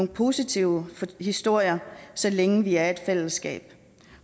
positive historier så længe vi er et fællesskab